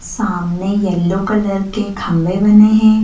सामने yellow colour के खंबे बने हैं।